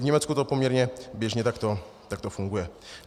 V Německu to poměrně běžně takto funguje.